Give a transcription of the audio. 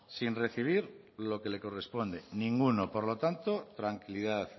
sin recibir lo que le corresponde ninguno por lo tanto tranquilidad